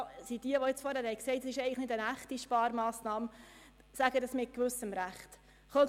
Alle, die argumentieren, es handle sich nicht um eine richtige Sparmassnahme, sagen das mit gewisser Berechtigung.